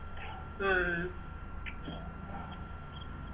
ഉം